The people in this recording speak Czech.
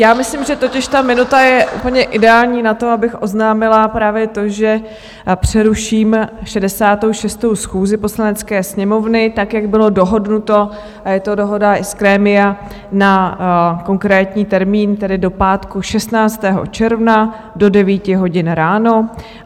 Já myslím, že totiž ta minuta je úplně ideální na to, abych oznámila právě to, že přeruším 66. schůzi Poslanecké sněmovny, tak jak bylo dohodnuto, a je to dohoda i z grémia na konkrétní termín, tedy do pátku 16. června do 9 hodin ráno.